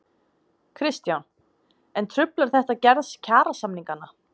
Kristján: En truflar þetta gerð kjarasamninganna?